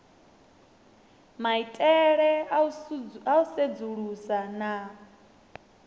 maitele a u sedzulusa na